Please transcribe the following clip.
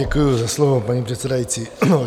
Děkuji za slovo, paní předsedající.